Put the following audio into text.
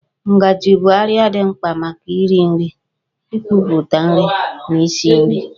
Ngajị bụ àrịá dị mkpa maka iri nri, ikuputa nri na isi nri